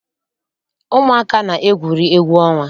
Ụmụaka na- egwuri egwu ọnwa.